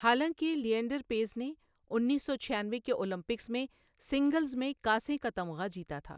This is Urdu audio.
حالانکہ لینڈر پیس نے انیس سو چھیانوے کے اولمپکس میں سنگلز میں کانسی کا تمغہ جیتا تھا.